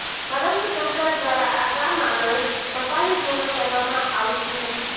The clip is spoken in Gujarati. પરંતુ તંત્ર દ્વારા આ કામ આગળ ધપાવી પૂર્ણ કરવામાં આવતું નથી